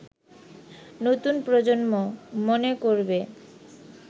নতুন প্রজন্ম মনে করবে